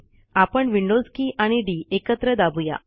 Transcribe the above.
आपण विंडॊज की आणि डी एकत्र दाबू या